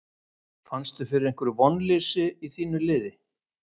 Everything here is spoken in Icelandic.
Fannstu fyrir einhverju vonleysi í þínu liði?